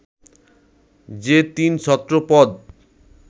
যে তিন ছত্র পদ